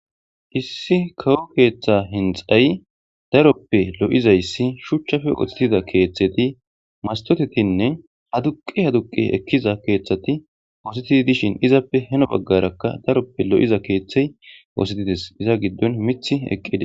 Issi kawo keeththe hinxay daroppe lo7izayssi shuchchafe oththetida keeththeti mastotetinne haduqi haduqi ekkiza keeththati oosetii dishin izappe heno baggarakka daroppe lo7iza keeththey oosetides iza giddon mith eqqide.